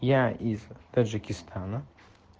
я из таджикистана